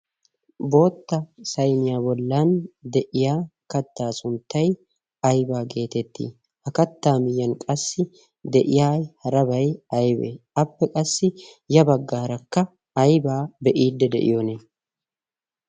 bootta saimiyaa bollan de'iya kattaa sunttai aibaa geetetti ha kattaa miyyan qassi de'iya harabay aybee appe qassi ya baggaarakka aybaa be'iidde de'iyoonee